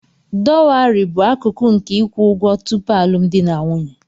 Dowari bụ akụkụ nke ịkwụ ụgwọ tupu alụmdi na nwunye.